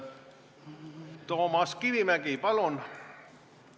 Toomas Kivimägi, palun!